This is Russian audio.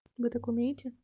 вы так умеете